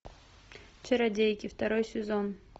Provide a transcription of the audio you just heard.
чародейки второй сезон